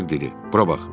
Herzoq dedi: Bura bax.